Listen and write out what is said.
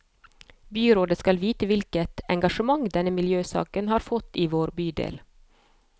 Byrådet skal vite hvilket engasjement denne miljøsaken har fått i vår bydel.